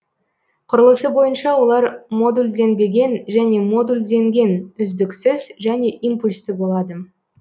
құрылысы бойынша олар модульденбеген және модулденген үздіксіз және импульсті болады